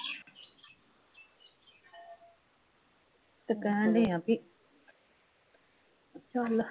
ਤੇ ਕਹਿਣ ਡਏ ਆ ਬਈ ਚੱਲ